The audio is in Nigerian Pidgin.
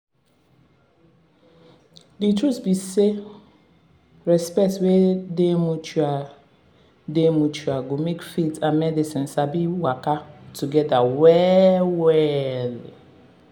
truth be say respect wey dey mutual dey mutual go make faith and medicine sabi waka together well-well.